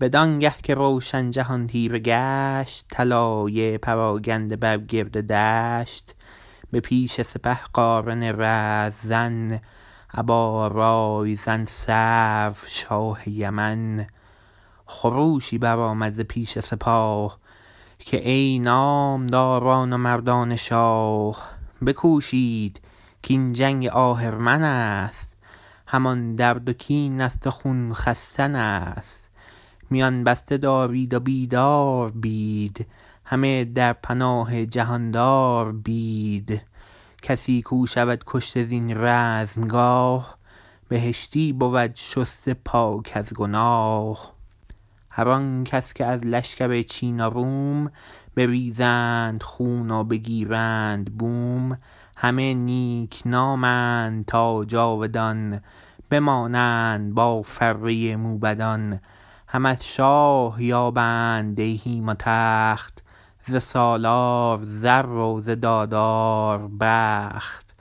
بدان گه که روشن جهان تیره گشت طلایه پراگنده بر گرد دشت به پیش سپه قارن رزم زن ابا رای زن سرو شاه یمن خروشی برآمد ز پیش سپاه که ای نامداران و مردان شاه بکوشید کاین جنگ آهرمنست همان درد و کین است و خون خستنست میان بسته دارید و بیدار بید همه در پناه جهاندار بید کسی کو شود کشته زین رزمگاه بهشتی بود شسته پاک از گناه هر آن کس که از لشکر چین و روم بریزند خون و بگیرند بوم همه نیکنامند تا جاودان بمانند با فره موبدان هم از شاه یابند دیهیم و تخت ز سالار زر و ز دادار بخت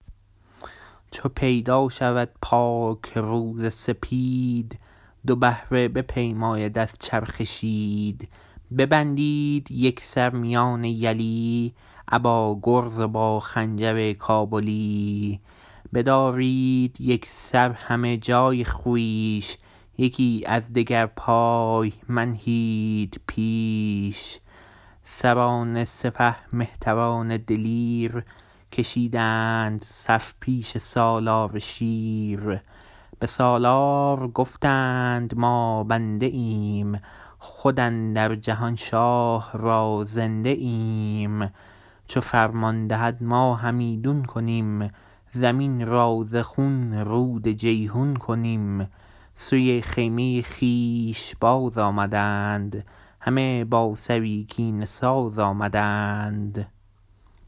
چو پیدا شود پاک روز سپید دو بهره بپیماید از چرخ شید ببندید یکسر میان یلی ابا گرز و با خنجر کابلی بدارید یکسر همه جای خویش یکی از دگر پای منهید پیش سران سپه مهتران دلیر کشیدند صف پیش سالار شیر به سالار گفتند ما بنده ایم خود اندر جهان شاه را زنده ایم چو فرمان دهد ما همیدون کنیم زمین را ز خون رود جیحون کنیم سوی خیمه خویش باز آمدند همه با سری کینه ساز آمدند